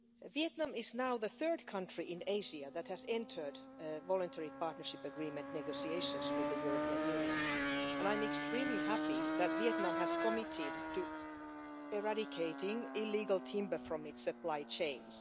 Vietnam is now the third country in Asia that has entered Voluntary Partnership Agreement negotiations with the European Union and I am extremely happy that Vietnam has committed to eradicating illegal timber from its supply chains.